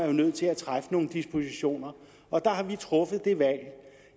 jo nødt til at træffe nogle dispositioner og der har vi truffet det valg